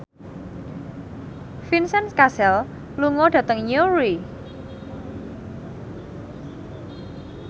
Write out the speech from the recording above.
Vincent Cassel lunga dhateng Newry